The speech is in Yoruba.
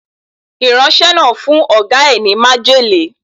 Ìránṣẹ́ náà fún Ọ̀gá ẹ ní májèlé.